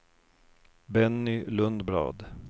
Benny Lundblad